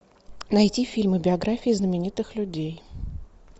найти фильмы биографии знаменитых людей